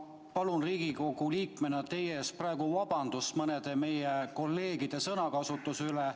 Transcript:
Ma palun Riigikogu liikmena teilt praegu vabandust mõne meie kolleegi sõnakasutuse pärast.